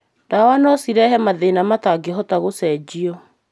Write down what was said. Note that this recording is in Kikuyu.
Ndawa no cirehe mathĩna matangĩhota gũcenjio.